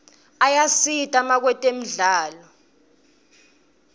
ayasita makwetemidlalo